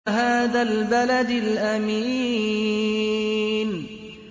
وَهَٰذَا الْبَلَدِ الْأَمِينِ